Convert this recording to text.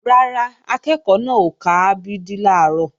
Rárá, akẹ́ẹ̀kọ́ náà ò ka a b d làárọ̀